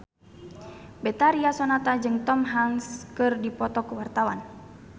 Betharia Sonata jeung Tom Hanks keur dipoto ku wartawan